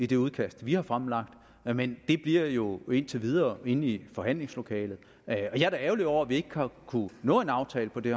det udkast vi har fremlagt men men det bliver jo indtil videre inde i forhandlingslokalet jeg er da ærgerlig over at vi ikke har kunnet nå en aftale på det